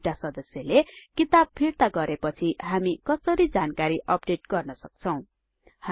एउटा सदस्यले किताब फिर्ता गरेपछि हामी कसरी जानकरी अपडेट गर्न सक्छौं